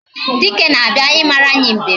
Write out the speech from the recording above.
Dike na-abịa ịmara anyị mbem